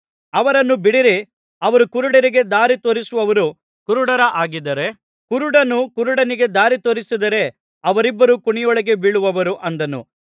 ಅವರನ್ನು ಬಿಡಿರಿ ಅವರು ಕುರುಡರಿಗೆ ದಾರಿ ತೋರಿಸುವವರು ಕುರುಡರ ಹಾಗಿದ್ದಾರೆ ಕುರುಡನು ಕುರುಡನಿಗೆ ದಾರಿ ತೋರಿಸಿದರೆ ಅವರಿಬ್ಬರೂ ಕುಣಿಯೊಳಗೆ ಬೀಳುವರು ಅಂದನು